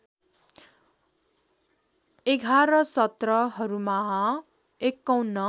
११ सत्रहरूमा ५१